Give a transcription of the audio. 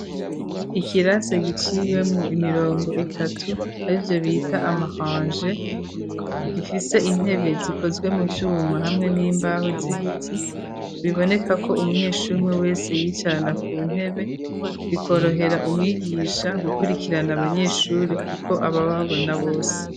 ikirasi giciwemwo imirongo itatu arivyo bita amaranje (rangées), gifise intebe zikozwe mu vyuma hamwe n'imbaho z'ibiti biboneka ko umunyeshuri umwe wese yiyicarana ku ntebe bikorohera umwigisha gukurikirana abanyeshuri kuko aba ababona bose.